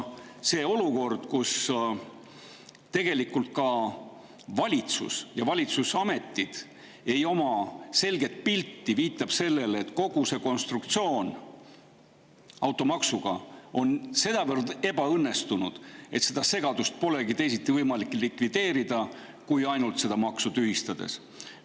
See olukord, kus tegelikult ka valitsus ja ametid ei oma selget pilti, viitab sellele, et kogu see automaksu konstruktsioon on sedavõrd ebaõnnestunud, et seda segadust polegi võimalik teisiti likvideerida kui ainult seda maksu tühistades.